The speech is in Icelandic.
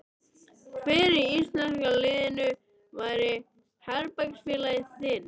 Hver í íslenska liðinu væri herbergisfélagi þinn?